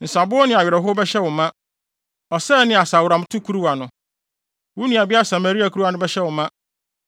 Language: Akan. Nsabow ne awerɛhow bɛhyɛ wo ma, ɔsɛe ne asaworamto kuruwa no, wo nuabea Samaria kuruwa no bɛhyɛ wo ma.